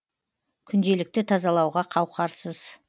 күнделікті тазалауға қауқарсыз